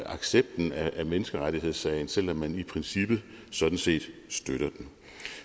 accepten af menneskerettighedssagen selv om man i princippet sådan set støtter